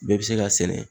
Bɛɛ bɛ se ka sɛnɛ